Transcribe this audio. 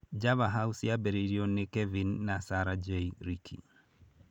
Java House yambĩrĩirio nĩ Kevin na Sarah J. Richey.